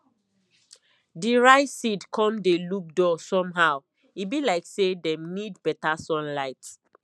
the rice seed come dey look dull somehow e be like say them need better sunlight